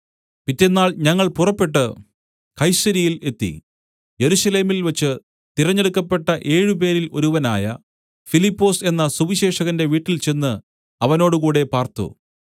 പിറ്റെന്നാൾ ഞങ്ങൾ പുറപ്പെട്ട് കൈസര്യയിൽ എത്തി യെരുശലേമിൽ വെച്ച് തിരഞ്ഞെടുക്കപ്പെട്ട ഏഴുപേരിൽ ഒരുവനായ ഫിലിപ്പൊസ് എന്ന സുവിശേഷകന്റെ വീട്ടിൽചെന്ന് അവനോടുകൂടെ പാർത്തു